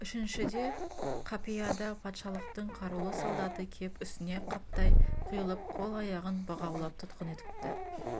үшіншіде қапияда патшалықтың қарулы солдаты кеп үстіне қаптай құйылып қол-аяғын бұғаулап тұтқын етіпті